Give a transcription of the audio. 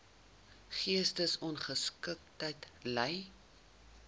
geestesongesteldheid ly